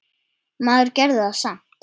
Maður gerði það samt.